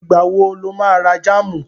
Ìgbà wo lo má ra jáàmù?